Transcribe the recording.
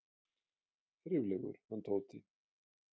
Þriflegur, hann Tóti!